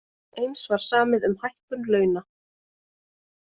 Eins var samið um hækkun launa